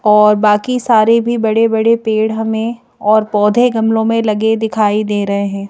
और बाकी सारे भी बड़े-बड़े पेड़ हमें और पौधे गमलों में लगे दिखाई दे रहे हैं।